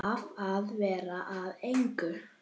Af að verða að engu.